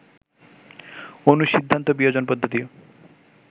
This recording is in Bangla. অনুসিদ্ধান্ত বিয়োজন পদ্ধতি